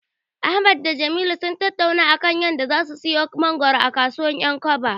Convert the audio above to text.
Ahmad da Jamilu sun tattauna a kan yadda zasu siyo mangoro a kasuwar 'yankaba.